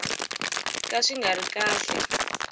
ka swi nga ri kahle